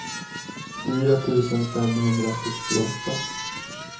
fyra tusen femhundrasextioåtta